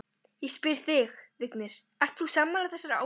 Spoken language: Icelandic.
Ég spyr þig, Vignir, ert þú sammála þessari áskorun?